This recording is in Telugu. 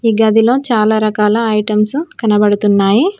ఈ గదిలో చాలా రకాల ఐటమ్సు కనబడుతున్నాయి.